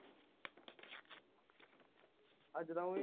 ਅਜ ਤਾ ਉਹ ਵੀ